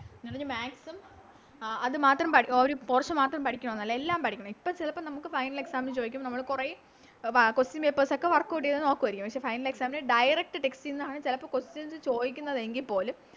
എന്ന് പറഞ്ഞ് Maths ഉം ആ അത് മാത്രം പഠി ഓരോ Portion മാത്രം പഠിക്കാനൊന്നല്ല എല്ലാം പഠിക്കണം ഇപ്പൊ ചെലപ്പോ നമുക്ക് Final exam ന് ചോയിക്കും നമ്മള് കൊറേ എ വാ Question papers ഒക്കെ Workout ചെയ്ത നോക്കുവാരിക്കും പക്ഷെ Final exam ന് Direct text ആണ് ചെലപ്പോ Questions ചോയിക്കുന്നതെങ്കിൽ പോലും